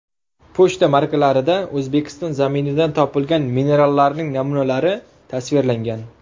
Pochta markalarida O‘zbekiston zaminidan topilgan minerallarning namunalari tasvirlangan.